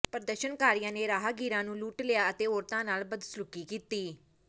ਪ੍ਰਦਰਸ਼ਨਕਾਰੀਆਂ ਨੇ ਰਾਹਗੀਰਾਂ ਨੂੰ ਲੁੱਟ ਲਿਆ ਅਤੇ ਔਰਤਾਂ ਨਾਲ ਬਦਸਲੂਕੀ ਕੀਤੀ